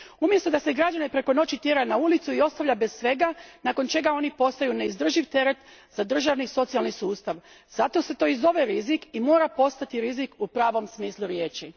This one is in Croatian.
Umjesto da se građane preko noći tjera na ulicu i ostavlja bez svega, nakon čega oni postaju neizdrživ teret za državni socijalni sustav, zato se to i zove rizik i mora postati rizik u pravom smislu riječi.